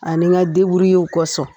Ani ka deburuyew kɔsɔn